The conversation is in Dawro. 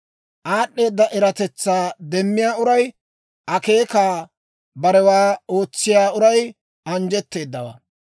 Aad'd'eeda eratetsaa demmiyaa uray, akeekaakka barewaa ootsiyaa uray anjjetteedawaa.